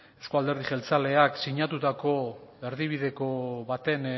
euzko alderdi jeltzaleak sinatutako erdibideko baten